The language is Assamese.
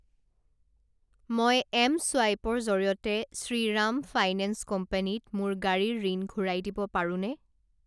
মই এম ছুৱাইপৰ জৰিয়তে শ্ৰীৰাম ফাইনেন্স কোম্পানী ত মোৰ গাড়ীৰ ঋণ ঘূৰাই দিব পাৰোঁনে?